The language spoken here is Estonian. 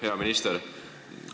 Hea minister!